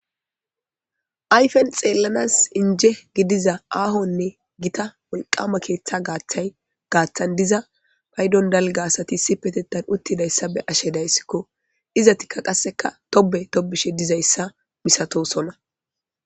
Ayfen xeellanas inje gidiza aahonne gita wolqama keeththa gaaththay gaaththan diza paydon dalga asati si petettan uttidayssa be ashe dayssikko. izatikka qasseka tobe tobishe dizayssa misatosona.